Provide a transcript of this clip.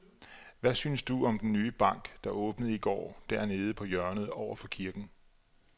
Hvad synes du om den nye bank, der åbnede i går dernede på hjørnet over for kirken?